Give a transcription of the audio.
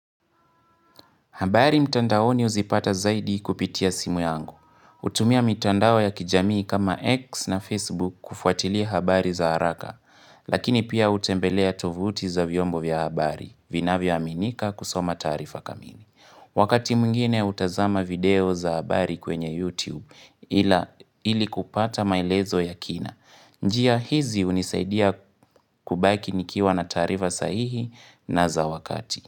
Habari mtandaoni huzipata zaidi kupitia simu yangu. Hutumia mitandao ya kijamii kama X na Facebook kufuatilia habari za haraka. Lakini pia hutembelea tovuti za vyombo vya habari. Vinavyoaminika kusoma taarifa kamili. Wakati mwngine hutazama video za habari kwenye YouTube ili kupata maelezo ya kina. Njia hizi hunisaidia kubaki nikiwa na taarifa sahihi na za wakati.